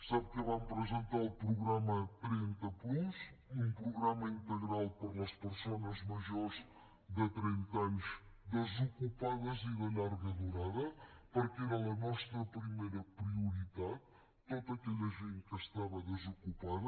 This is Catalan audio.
sap que vam presentar el programa trenta plus un programa integral per a les persones majors de trenta anys desocupades i de llarga durada perquè era la nostra primera prioritat tota aquella gent que estava desocupada